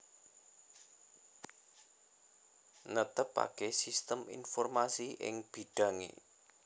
Netepaké sistem informasi ing bidhangé